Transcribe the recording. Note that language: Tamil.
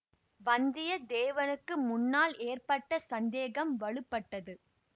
வந்தியத்தேவனுக்கு முன்னால் ஏற்பட்ட சந்தேகம் வலுப்பட்டது